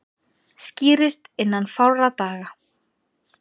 Skýrist innan fárra daga